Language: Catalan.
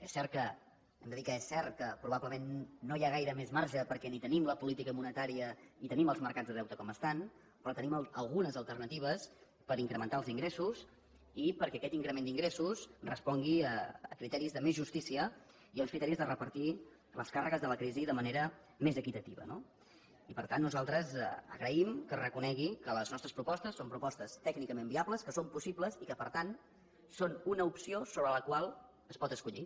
és cert hem de dir que és cert que probablement no hi ha gaire més marge perquè ni tenim la política monetària i tenim els mercats de deute com estan però tenim algunes alternatives per incrementar els ingressos i perquè aquest increment d’ingressos respongui a criteris de més justícia i a uns criteris de repartir les càrregues de la crisi de manera més equitativa no i per tant nosaltres agraïm que reconegui que les nostres propostes són propostes tècnicament viables que són possibles i que per tant són una opció sobre la qual es pot escollir